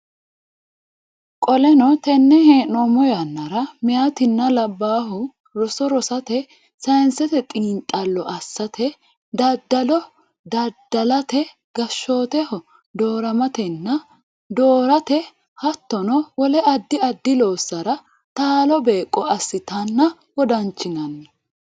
Qoleno tenne hee noommo yannara meyatinna labbaahu roso rosate sayinsete xiinxallo assate daddalo dadda late gashshooteho dooramatenna doorate hattono wole addi addi loossara taalo beeqqo assitanna wodanchinanni.